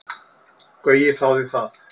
Gaui þáði það.